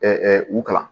u kalan